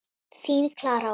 Þín Klara Ósk.